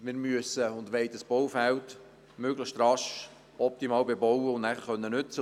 Wir wollen und müssen dieses Baufeld möglichst rasch optimal bebauen und danach nutzen können.